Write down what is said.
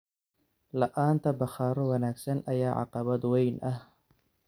La'aanta bakhaarro wanaagsan ayaa caqabad weyn ah.